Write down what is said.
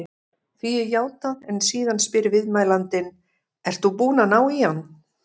Því er játað en síðan spyr viðmælandinn: Ert þú búinn að ná á hann?